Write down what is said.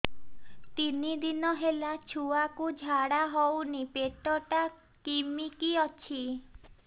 ତିନି ଦିନ ହେଲା ଛୁଆକୁ ଝାଡ଼ା ହଉନି ପେଟ ଟା କିମି କି ଅଛି